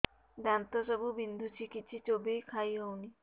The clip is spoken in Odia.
ଦାନ୍ତ ସବୁ ବିନ୍ଧୁଛି କିଛି ଚୋବେଇ ଖାଇ ହଉନି